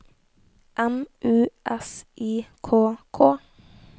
M U S I K K